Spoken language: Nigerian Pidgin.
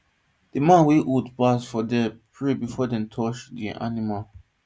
the man wey old pass for there pray before them touch the animal